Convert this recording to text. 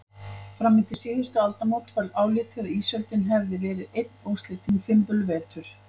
Fram undir síðustu aldamót var álitið að ísöldin hefði verið einn óslitinn fimbulvetur.